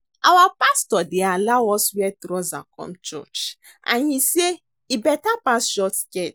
Our pastor dey allow us wear trouser come church and he say e better pass short skirt